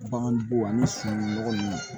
Baganbo ani sunungunɔgɔ ninnu